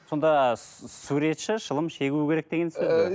сонда суретші шылым шегу керек деген сөз бе